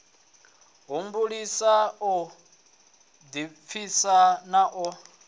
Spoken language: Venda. humbulisa u ḓipfisa na u